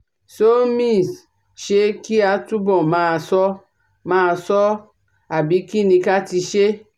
SomisṢé kí a túbọ̀ máa ṣọ́ máa ṣọ́ ọ àbí kí ni ká ti ṣe?